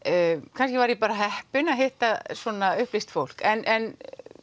kannski var ég bara heppin að hitta svona upplýst fólk en